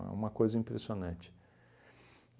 a uma coisa impressionante.